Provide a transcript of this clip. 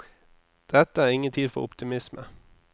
Dette er ingen tid for optimisme.